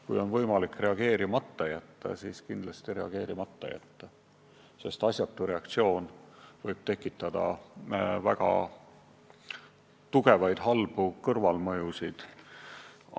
Kui on võimalik reageerimata jätta, siis tuleb kindlasti reageerimata jätta, sest asjatu reaktsioon võib tekitada väga tugevaid halbu kõrvalmõjusid.